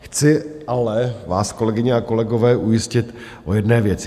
Chci vás ale, kolegyně a kolegové, ujistit o jedné věci.